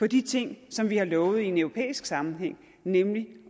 de ting som vi har lovet i en europæisk sammenhæng nemlig